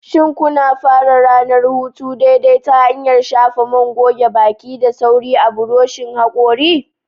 Shin kuna fara ranar hutu daidai ta hanyar shafa man goge baki da sauri a buroshin hakori?